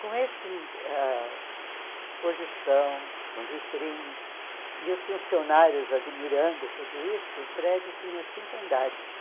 Com esse ãh exposição, com vitrine, e os funcionários admirando tudo isso, o prédio tinha cinco andares.